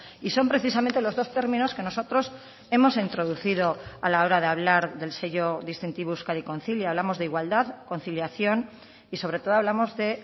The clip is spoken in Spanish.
y son precisamente los dos términos que nosotros hemos introducido a la hora de hablar del sello distintivo euskadi concilia hablamos de igualdad conciliación y sobre todo hablamos de